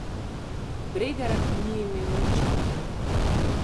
Bregar ni imel nič pri tem.